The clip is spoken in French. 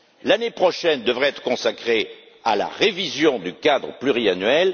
L'année prochaine devrait être consacrée à la révision du cadre pluriannuel.